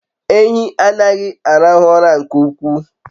Ehi anaghi arahu ura nke ukwuu